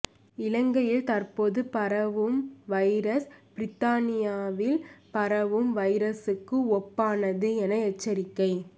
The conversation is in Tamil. இலங்கையில் தற்போது பரவும் வைரஸ் பிரித்தானியாவில் பரவும் வைரஸுக்கு ஒப்பானது என எச்சரிக்கை